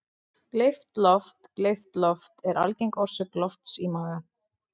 Gleypt loft Gleypt loft er algeng orsök lofts í maga.